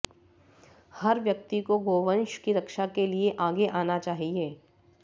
हर व्यक्ति को गौवंश की रक्षा के लिये आगे आना चाहिये